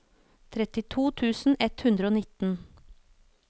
trettito tusen ett hundre og nitten